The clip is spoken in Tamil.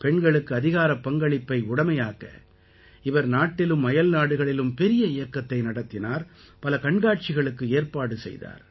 பெண்களுக்கு அதிகாரப் பங்களிப்பை உடைமையாக்க இவர் நாட்டிலும் அயல்நாடுகளிலும் பெரிய இயக்கத்தை நடத்தினார் பல கண்காட்சிகளுக்கு ஏற்பாடு செய்தார்